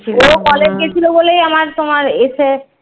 college গেছিলো বলেই আমার তোমার এসে